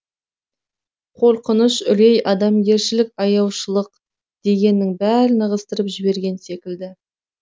қорқыныш үрей адамгершілік аяушылық дегеннің бәрін ығыстырып жіберген секілді